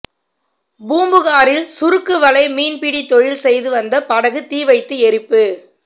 பூம்புகாரில் சுருக்கு வலை மீன்பிடி தொழில் செய்து வந்த படகு தீவைத்து எரிப்பு